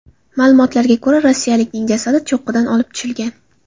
Ma’lumotlarga ko‘ra, rossiyalikning jasadi cho‘qqidan olib tushilgan.